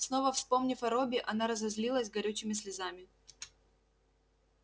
снова вспомнив о робби она разразилась горючими слезами